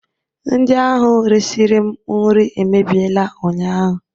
Ndị ahụ resịrị m nri emebiela ụnyahụ